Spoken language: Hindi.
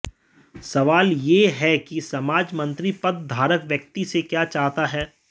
सवाल यह है कि समाज मंत्री पद धारक व्यक्ति से क्या चाहता है